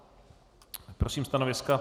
Prosím stanoviska.